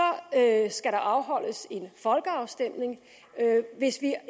skal der afholdes en folkeafstemning hvis det er